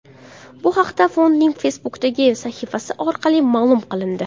Bu haqda fondning Facebook’dagi sahifasi orqali ma’lum qilindi .